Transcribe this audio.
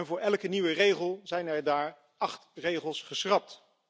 Voor elke nieuwe regel zijn er daar acht regels geschrapt.